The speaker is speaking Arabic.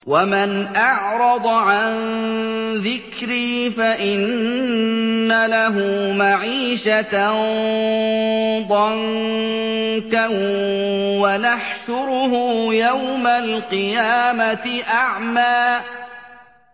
وَمَنْ أَعْرَضَ عَن ذِكْرِي فَإِنَّ لَهُ مَعِيشَةً ضَنكًا وَنَحْشُرُهُ يَوْمَ الْقِيَامَةِ أَعْمَىٰ